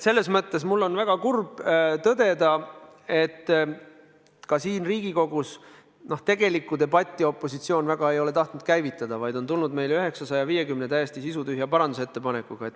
Selles mõttes mul on väga kurb tõdeda, et ka siin Riigikogus tegelikku debatti opositsioon väga ei ole tahtnud käivitada, vaid on tulnud välja 950 täiesti sisutühja parandusettepanekuga.